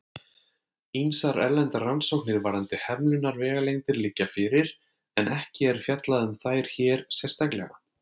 Ýmsar erlendar rannsóknir varðandi hemlunarvegalengdir liggja fyrir, en ekki er fjallað um þær hér sérstaklega.